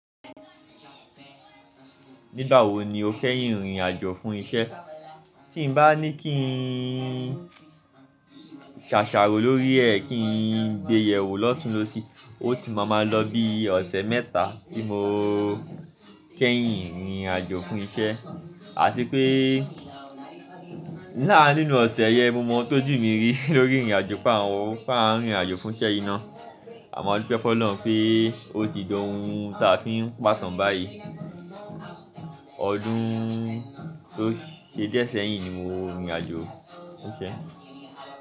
Nígbà wo ni o fẹ́ yín rìn irinàjò fún isẹ́? Tí mo bá ní kí n ṣàṣàrò lórí ẹ̀, kí n gbe yẹ̀wò lọ́tunún-lósì, ó ti máa máa lọ bí ọ̀sẹ̀ mẹ́ta tí mo kẹ́yín rìnrìn àjò fún isẹ́. À ti pé nàá nínú ọ̀sẹ̀ yẹn, mo mọ̀ ọ́n tó jù mi rí lórí ìrìn àjò pe àwọn, pá n rìnrin àjò fún iṣẹ́ yíi ná. A mọ̀ adupẹ́ f'Ọlọ́run pé ó ti di ohun tí a fi ń pàtán báyìí. Ọdún tó ṣe díẹ̀ sẹ́yìn ni mo rìnrìn àjò fún iṣẹ́.